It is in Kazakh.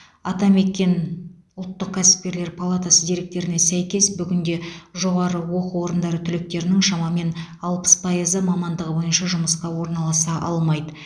атамекен ұлттық кәсіпкерлер палатасы деректеріне сәйкес бүгінде жоғары оқу орындары түлектерінің шамамен алпыс пайызы мамандығы бойынша жұмысқа орналаса алмайды